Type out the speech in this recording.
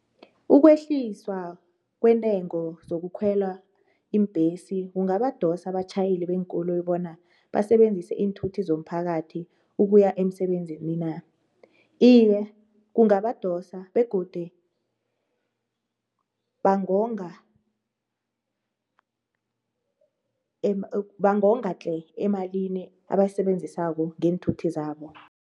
Ukwehliswa kwentengo zokukhwela iimbhesi kungabadosa abatjhayeli beenkoloyi bona basebenzise iinthuthi zomphakathi ukuya emsebenzini na? Iye, kungabadosa begodi bangonga bangonga tle emalini abayisebenzisako ngeenthuthi zabo.